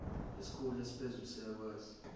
isikhulu esiphezulu siyakwazi